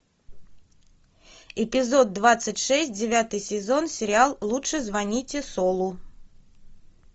эпизод двадцать шесть девятый сезон сериал лучше звоните солу